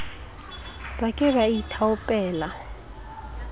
ba ke ba ba ithaopela